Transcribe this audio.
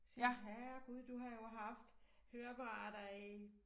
Siger jeg herregud du har jo haft høreapparater i